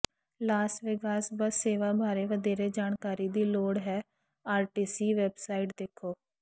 Las Vegas bus ਸੇਵਾ ਬਾਰੇ ਵਧੇਰੇ ਜਾਣਕਾਰੀ ਦੀ ਲੋੜ ਹੈ ਆਰਟੀਸੀ ਵੈਬਸਾਈਟ ਦੇਖੋ